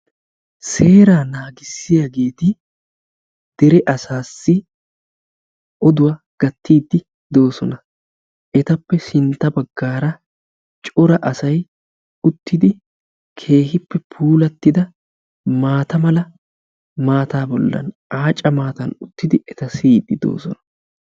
Seeraa naagissiyageeti dere asaassi oduwa gattiiddi doosona. Etappe sintta baggaara cora asay uttidi keehippe puulattida maata mala maataa bollan aaca maatan uttidi eta siyiddi doosona.